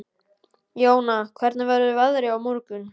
Jóna, hvernig verður veðrið á morgun?